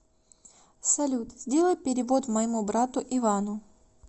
салют сделай перевод моему брату ивану